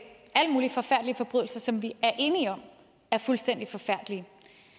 alle mulige forfærdelige forbrydelser som vi er enige om er fuldstændig forfærdelige